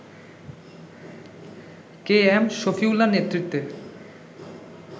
কে M শফিউল্লার নেতৃত্বে